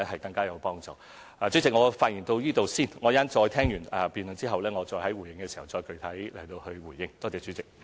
代理主席，我的發言到此為止，在聆聽辯論後我會再在會議上作具體回應。